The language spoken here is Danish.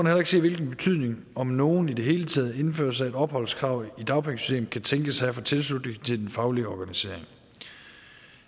heller ikke se hvilken betydning om nogen i det hele taget indførelse af et opholdskrav i dagpengesystemet kan tænkes at have for tilslutningen til den faglige organisering